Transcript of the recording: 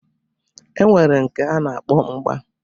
E nwere nke a na-akpọ mgba